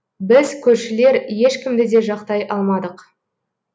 біз көршілер ешкімді де жақтай алмадық